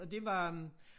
Og det var øh